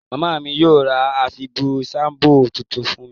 Màmá mí yio ra àfibù shampoo tuntun fún mi